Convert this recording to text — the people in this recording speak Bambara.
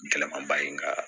Gɛlɛmanba in ka